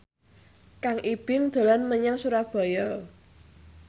Kang Ibing dolan menyang Surabaya